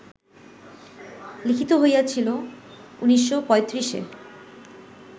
লিখিত হইয়াছিল ১৯৩৫-এ